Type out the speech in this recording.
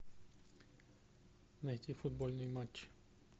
найти футбольный матч